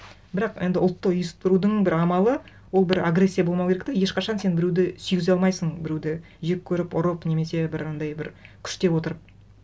бірақ енді ұлтты ұйыстырудың бір амалы ол бір агрессия болмау керек те ешқашан сен біреуді сүйгізе алмайсың біреуді жек көріп ұрып немесе бір андай бір күштеп отырып